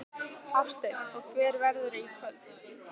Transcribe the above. Hafsteinn: Og hver verðurðu í kvöld?